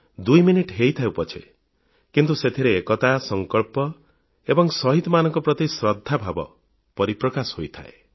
ଦୁଇ ମିନିଟ ହୋଇଥାଉ ପଛେ କିନ୍ତୁ ସେଥିରେ ଏକତା ସଂକଳ୍ପ ଏବଂ ଶହୀଦମାନଙ୍କ ପ୍ରତି ଶ୍ରଦ୍ଧାଭାବ ପରିପ୍ରକାଶ ହୋଇଥାଏ